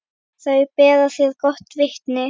Þau bera þér gott vitni.